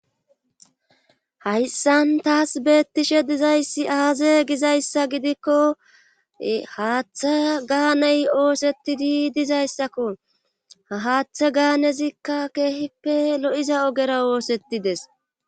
hayssan taas beettishe dizayssi aaze gizayssa gidikko haaththe gaaney oosettidi dizayssakko ahaaththe gaanezikka keehippe lo7iza ogera oosettides